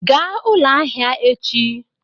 Gaa ụlọ ahịa echi!